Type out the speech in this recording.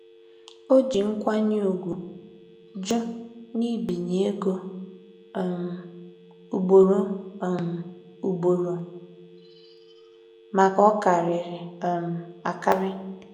O ji nkwanye ùgwù jụ nbinye ego um ugboro um ugboro maka ọkarịrị um akarị.